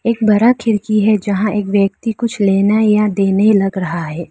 एक बड़ा खिड़की है जहां एक व्यक्ति कुछ लेना या देने लग रहा है।